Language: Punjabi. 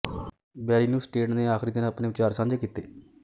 ਬੈਰੀ ਨਿਊਸਟੇਡ ਨੇ ਆਖਰੀ ਦਿਨ ਆਪਣੇ ਵਿਚਾਰ ਸਾਂਝੇ ਕੀਤੇ